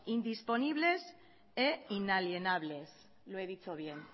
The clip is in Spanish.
indisponibles e inalienables lo he dicho bien